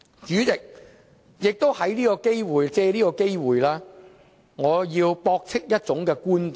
主席，我想借這個機會，駁斥一種觀點。